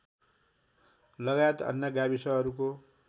लगायत अन्य गाविसहरूको